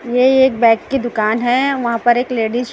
ये एक बैग की दुकान है वहां पर एक लेडिस --